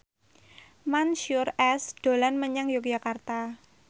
Mansyur S dolan menyang Yogyakarta